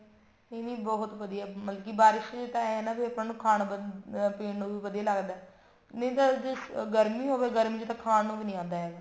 ਇਹ ਵੀ ਬਹੁਤ ਵਧੀਆ ਮਤਲਬ ਕੇ ਬਾਰਿਸ਼ ਚ ਤਾਂ ਏਂ ਹੈ ਨਾ ਆਪਾਂ ਨੂੰ ਖਾਣ ਪੀਣ ਨੂੰ ਵੀ ਵਧੀਆ ਲੱਗਦਾ ਨਹੀਂ ਜੇ ਗਰਮੀ ਹੋਵੇ ਗਰਮੀ ਚ ਤਾਂ ਖਾਣ ਨੂੰ ਵੀ ਨੀ ਆਉਂਦਾ ਹੈਗਾ